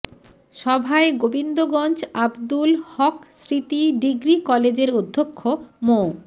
সভায় গোবিন্দগঞ্জ আব্দুল হক স্মৃতি ডিগ্রি কলেজের অধ্যক্ষ মো